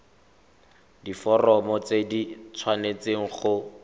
diforomo tse di tshwanesteng go